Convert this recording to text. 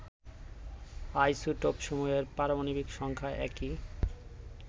আইসোটপসমূহের পারমাণবিক সংখ্যা একই